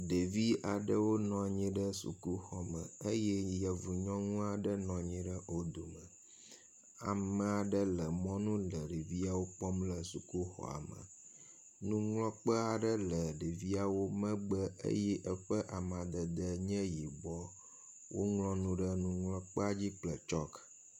Ɖevi aɖewo nɔ anyi ɖe sukuxɔ me eye yevu nyɔnu aɖe nɔ anyi ɖe wo dome. Ame aɖe le mɔnu le ɖeviawo kpɔm le sukuxɔa me. Nuŋlɔkpe aɖe le ɖeviawo megbe eye eƒe amadede nye yibɔ. Woŋlɔ nu ɖe nuŋlɔkpea dzi kple tsɔki.